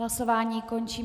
Hlasování končím.